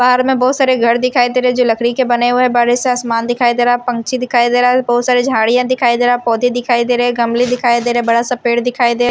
बाहर में बहुत सारे घर दिखाई दे रहे जो लकड़ी के बने हुए हैं बाहर से आसमान दिखाई दे रहा है पंछी दिखाई दे रहा है बहुत सारे झाड़ियां दिखाई दे रहा है पौधे दिखाई दे रहे हैं गमले दिखाई दे रहे बड़ा सा पेड़ दिखाई दे--